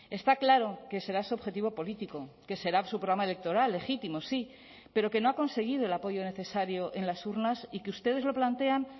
está claro que será su objetivo político que será su programa electoral legítimo sí pero que no ha conseguido el apoyo necesario en las urnas y que ustedes lo plantean